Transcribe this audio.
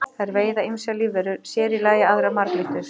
Þær veiða ýmsar lífverur, sér í lagi aðrar marglyttur.